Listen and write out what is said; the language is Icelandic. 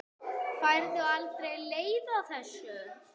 Færðu aldrei leið á þessu?